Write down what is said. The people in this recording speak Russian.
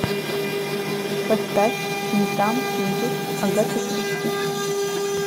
поставь ни там ни тут агаты кристи